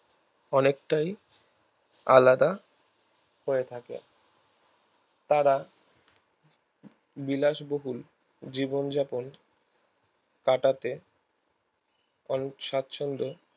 অনেকটাই আলাদা হয়ে থাকে তারা বিলাসবহুল জীবন জাপন কাটাতে এবং সাচ্ছন্দে